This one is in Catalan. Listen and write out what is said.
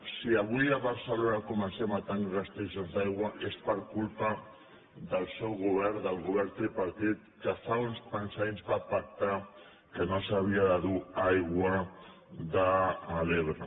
si avui a barcelona comencem a tenir restriccions d’aigua és per culpa del seu govern del govern tripartit que fa uns quants anys va pactar que no s’havia de dur aigua de l’ebre